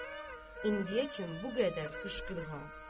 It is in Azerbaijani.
İndiyəcən bu qədər qışqırıq ha.